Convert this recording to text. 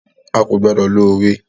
À ko gbodo lo owe.